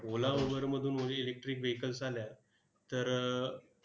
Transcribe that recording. ओला, उबरमधून electric vehicles आल्या, तर